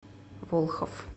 волхов